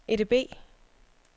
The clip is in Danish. EDB